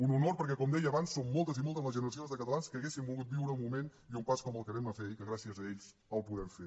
un honor perquè com deia abans són moltes i moltes les generacions de catalans que haurien volgut viure un moment i un pas com el que vam fer ahir que gràcies a ells el podrem fer